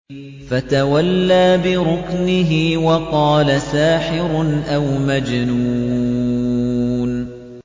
فَتَوَلَّىٰ بِرُكْنِهِ وَقَالَ سَاحِرٌ أَوْ مَجْنُونٌ